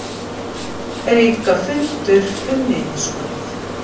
Aukafundur um niðurskurð